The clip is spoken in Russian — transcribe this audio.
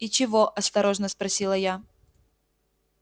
и чего осторожно спросила я